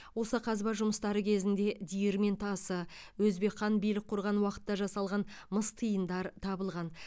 осы қазба жұмыстары кезінде диірмен тасы өзбек хан билік құрған уақытта жасалған мыс тиындар табылған